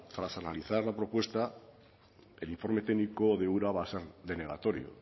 tras analizar la propuesta el informe técnico de ura va a ser denegatorio